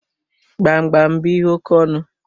Gbamgbam bú ihe oke ọnụ